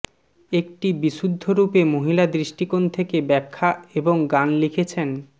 একটি বিশুদ্ধরূপে মহিলা দৃষ্টিকোণ থেকে ব্যাখ্যা এবং গান লিখেছেন